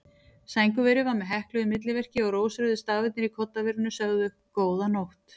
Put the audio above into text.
Sængurverið var með hekluðu milliverki og rósrauðir stafirnir í koddaverinu sögðu: Góða nótt.